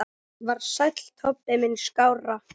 Var Sæll Tobbi minn skárra?